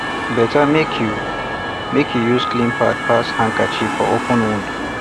better make you make you use clean pad pass handkerchief for open wound